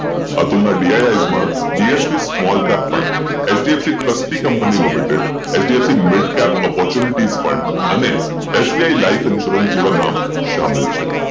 આતુલ નાં DIS DSP small cap fund HDFC trustee company limited HDFC midcap opportunities પણ અને SBI life insurance એવા નામ સામેલ છે